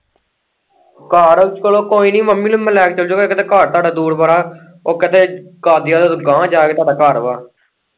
ਘਰ ਚੱਲੋ ਕੋਈ ਨਾ ਮੰਮੀ ਨੂੰ ਮੈਂ ਲੈ ਕੇ ਚੱਲ ਜੂ ਗਾ ਇੱਕ ਤੇ ਘਰ ਤੁਹਾਡਾ ਦੂਰ ਬੜਾ ਉਹ ਕਿਤੇ ਕਾਂਡੀਆ ਤੋਂ ਅਗਾਹ ਜਾ ਕੇ ਤੁਹਾਡਾ ਘਰ ਵਾ।